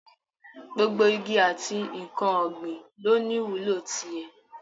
Gbogbo igi àti n̄ǹkan ọ̀gbìn lọ ní ìwúlò ti ẹ̀.